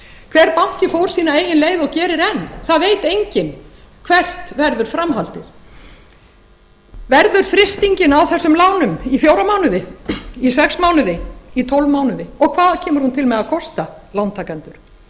hver banki fór sína eigin leið og gerir enn það veit enginn hvert verður framhaldið verður frystingin á þessum lánum í fjóra mánuði í sex mánuði í tólf mánuði og hvað kemur hún til með að kosta lántakendur